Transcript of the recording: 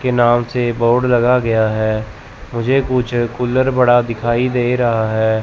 के नाम से बोर्ड लगा गया है मुझे कुछ कूलर बड़ा दिखाई दे रहा है।